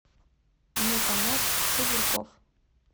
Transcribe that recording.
метанет цыбурков